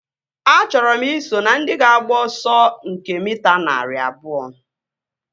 Achọrọ i so na ndị ga-agba ọsọ nke mita narị abụọ